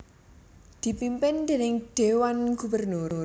dipimpin déning Dewan Gubernur